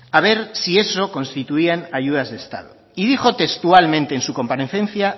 a ver si eso constituían ayudas de estado y dijo textualmente en su comparecencia